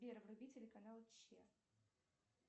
сбер вруби телеканал че